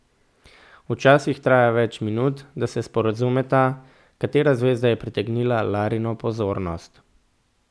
Včasih traja več minut, da se sporazumeta, katera zvezda je pritegnila Larino pozornost.